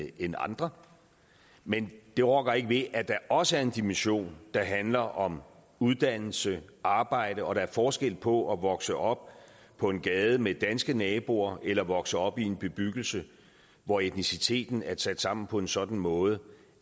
end andre men det rokker ikke ved at der også er en dimension der handler om uddannelse arbejde og at der er forskel på at vokse op på en gade med danske naboer eller vokse op i en bebyggelse hvor etniciteten er sat sammen på en sådan måde